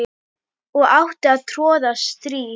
og átti að troða strý